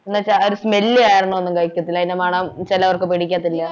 ന്നുവച്ച ആ ഒരു smell കാരണം ഒന്നും കഴിക്കത്തില്ല അതിൻ്റെ മണം ചെലവർക്ക് പിടിക്കത്തില്ല